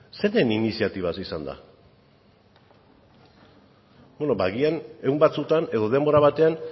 zeinen iniziatibaz izan da beno ba agian egun batzuetan edo denbora batean